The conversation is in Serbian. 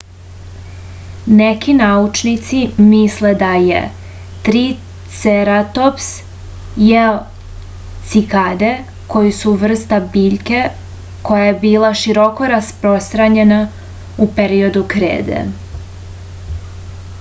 neki naučnici misle da je triceratops jeo cikade koji su vrsta biljke koja je bila široko rasprostranjena u periodu krede